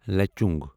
Lachung